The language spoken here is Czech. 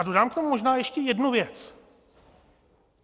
A dodám k tomu možná ještě jednu věc.